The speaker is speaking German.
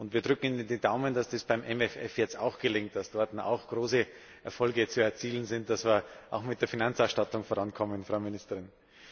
Wir drücken Ihnen die Daumen, dass das beim MFF jetzt auch gelingt, dass dort auch große Erfolge zu erzielen sind, damit wir auch mit der Finanzausstattung vorankommen, Frau Ministerin.